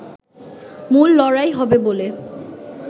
মূল লড়াই হবে বলে